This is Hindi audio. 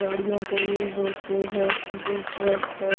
गाड़ियों को युज होते हैं जो ट्रक है।